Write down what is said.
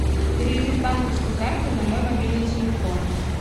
переведи с банковской карты на мой мобильный телефон